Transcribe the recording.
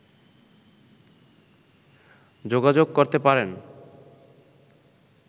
যোগাযোগ করতে পারেন